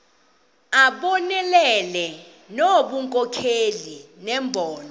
abonelele ngobunkokheli nembono